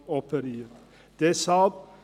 Das darf nicht sein!